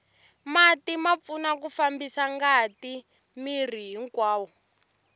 mati ma pfuna ku fambisa ngati miri hinkwawo